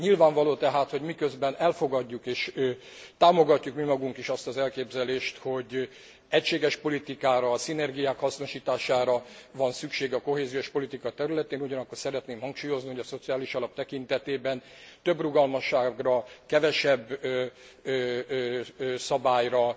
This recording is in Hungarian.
Nyilvánvaló tehát, hogy miközben elfogadjuk és támogatjuk mi magunk is azt az elképzelést, hogy egységes politikára, a szinergiák hasznosítására van szükség a kohéziós politika területén, ugyanakkor szeretném hangsúlyozni, hogy a Szociális Alap tekintetében több rugalmasságra, kevesebb szabályra,